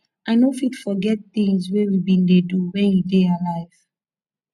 i no fit forget things wey we bin dey do wen you dey alive